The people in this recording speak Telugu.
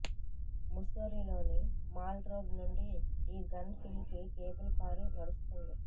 ముస్సోరిలోని మాల్ రోడ్డ్ నుండి ఈ గన్ హిల్ కి కేబుల్ కారు నడుస్తుంది